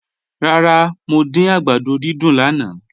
Ràrà, mo dín àgbàdó dídùn náà